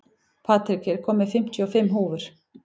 Patrik, ég kom með fimmtíu og fimm húfur!